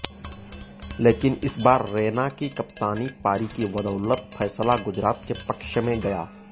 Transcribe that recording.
लेकिन इस बार रैना की कप्तानी पारी की बदौलत फैसला गुजरात के पक्ष में गया